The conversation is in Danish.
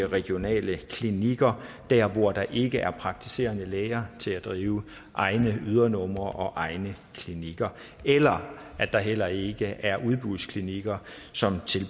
regionale klinikker der hvor der ikke er praktiserende læger til at drive egne ydernumre og egne klinikker eller at der heller ikke er udbudsklinikker som